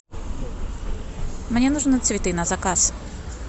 мне нужно цветы на заказ